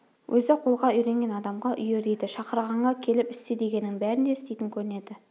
өзі қолға үйренген адамға үйір дейді шақырғанға келіп істе дегеннің бәрін де істейтін көрінеді